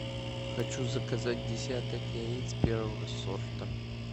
хочу заказать десяток яиц первого сорта